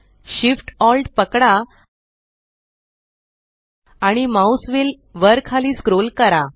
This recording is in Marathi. Shift Alt पकडा आणि माउस व्हील वर खाली स्क्रोल करा